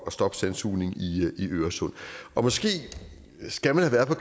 at stoppe sandsugning i øresund og måske skal man